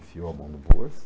Enfiou a mão no bolso.